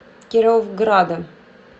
кировграда